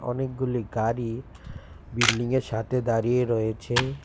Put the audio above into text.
। অনেকগুলি গাড়ি বিল্ডিং -এর সাথে দাঁড়িয়ে রয়েছে